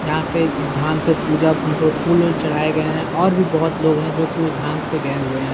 यहाँ पे धाम पे पूजा फूल-वूल चढ़ाये गए हैं और भी बोहोत लोग हैं जो की उस धाम पे गए हुए हैं।